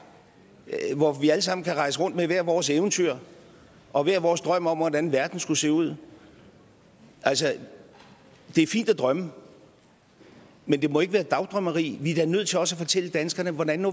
hvor vi alle sammen kan rejse rundt med hvert vores eventyr og hver vores drøm om hvordan verden skulle se ud altså det er fint at drømme men det må ikke være dagdrømmeri vi er da nødt til også at fortælle danskerne hvordan